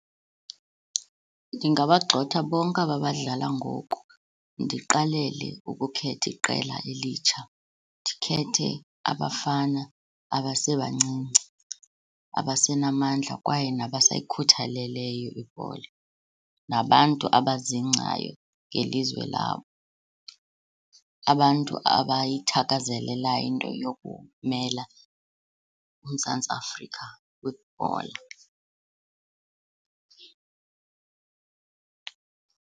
Ndingabagxotha bonke aba badlala ngoku, ndiqalele ukukhetha iqela elitsha. Ndikhethe abafana abasebancinci, abasenamandla kwaye nabasayikhuthaleleyo ibhola, nabantu abazingcayo ngelizwe labo, abantu abayithakazelelayo into yokumela uMzantsi Afrika kwibhola.